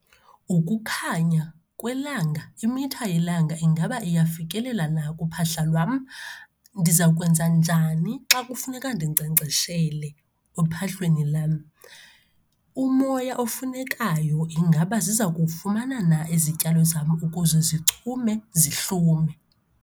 Ukukhanya kwelanga, imitha yelanga ingaba iyafikelela na kuphahla lwam, ndiza kwenza njani xa kufuneka ndinkcenkceshele ophahlweni lam. Umoya ofunekayo ingaba ziza kuwufumana na izityalo zam ukuze zichume zihlume.